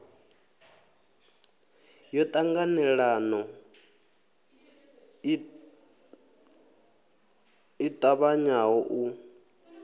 yo ṱanganelano i ṱavhanyaho u